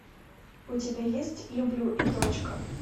у тебя есть люблю и точка